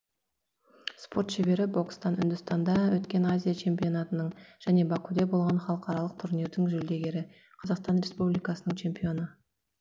спорт шебері бокстан үндістанда өткен азия чемпионатының және бакуде болған халықаралық турнирдің жүлдегері қр ның чемпионы